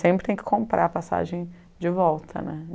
Sempre tem que comprar a passagem de volta, né?